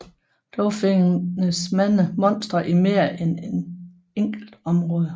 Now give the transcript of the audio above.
Dog findes mange monstre i mere end et enkelt område